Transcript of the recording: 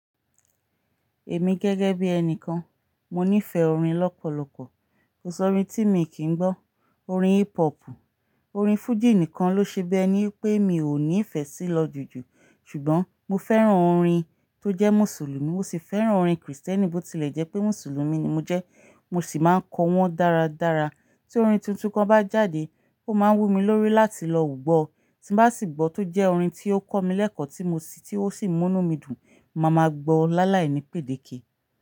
Èmi gẹ́gẹ́ bí ẹni kan, mo nífẹ̀ẹ́ orin lọ́pọ̀lọpọ̀. Kò sọ orin tí mi kí ń gbọ́. Orin hip hop, orin Fuji nìkan ló ṣe bi ení pé mi ò nífẹ̀ẹ́ sí lọ jùjù. Ṣùgbọ́n mo fẹ́ràn orin tó jẹ́ Mùsùlùmí, mo sì fẹ́ràn orin Krìstẹ́nì bó ti lè jẹ́ pé Mùsùlùmí ni mo jẹ́. Mo sì máa ń kọ wọ́n dáradára. Tí orin tuntun kan bá jáde, ó máa wú mi lórí láti lọ gbó. Tí n bá sì gbọ́ tó jẹ́ orin tí ó kọ́ mi lẹ́kọ̀ọ́ tí mo sì ti o si mu nú mi dùn, màá ma gbọ́ ọ́ láàláìní pèdèké.